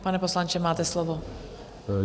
Pane poslanče, máte slovo.